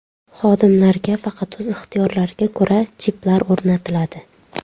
Xodimlarga faqat o‘z ixtiyorlariga ko‘ra chiplar o‘rnatiladi.